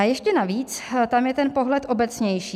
A ještě navíc tam je ten pohled obecnější.